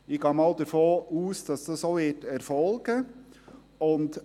Ich gehe einmal davon aus, dass das auch erfolgen wird.